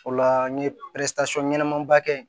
O la n ye ɲɛnɛmaba kɛ yen